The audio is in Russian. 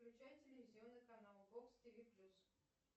включай телевизионный канал бокс тиви плюс